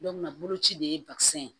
boloci de ye ye